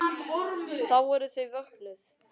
Þá voru þau vöknuð.